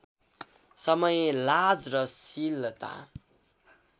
समय लाज र शीलता